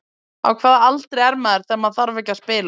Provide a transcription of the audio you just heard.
Á hvaða aldri er maður þegar maður þarf ekki að spila?